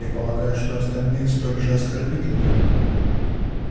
я полагаю что остальные столь же оскорбительны